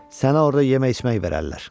Sənə orda yemək-içmək verərlər.